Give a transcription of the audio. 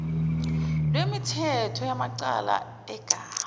lwemithetho yamacala egazi